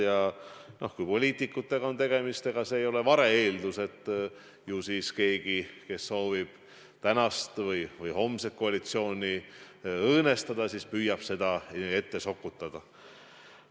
Ja kui on tegemist poliitikutega, ega siis ei ole vale-eeldus, et ju siis keegi, kes soovib tänast või homset koalitsiooni õõnestada, püüab seda infot ette sokutada.